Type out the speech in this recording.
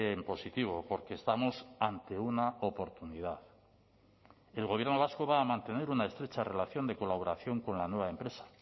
en positivo porque estamos ante una oportunidad el gobierno vasco va a mantener una estrecha relación de colaboración con la nueva empresa